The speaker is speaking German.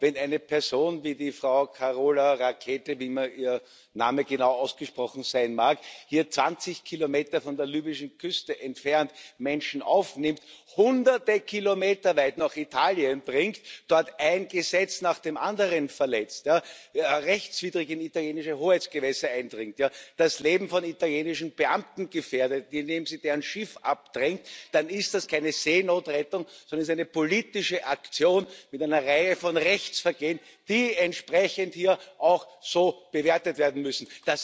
Wenn eine Person wie Frau Carola Rackete wie immer ihr Name genau ausgesprochen sein mag 20 Kilometer von der libyschen Küste entfernt Menschen aufnimmt, Hunderte Kilometer weit nach Italien bringt, dort ein Gesetz nach dem anderen verletzt, rechtswidrig in italienische Hoheitsgewässer eindringt, das Leben von italienischen Beamten gefährdet, indem sie deren Schiff abdrängt, dann ist das keine Seenotrettung, sondern eine politische Aktion mit einer Reihe von Rechtsvergehen, die entsprechend hier auch so bewertet werden müssen.